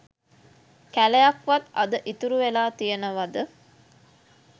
කැලයක් වත් අද ඉතුරු වෙලා තියනවද?